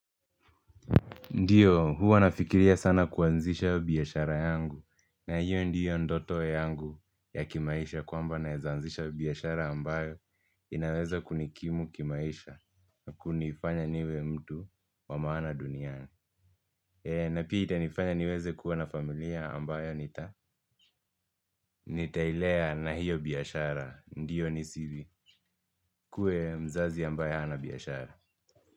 Ndiyo, huwa nafikiria sana kuanzisha biashara yangu na hiyo ndiyo ndoto yangu ya kimaisha kwamba naeza anzisha biashara ambayo inaweza kunikimu kimaisha na kunifanya niwe mtu wa maana duniani. Na pia itanifanya niweze kuwa na familia ambayo nitailea na hiyo biashara. Ndiyo ni sivi. Kue mzazi ambaye hana biashara.